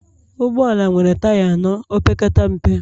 Ụgbọ ala nwere taya anọ opekata mpe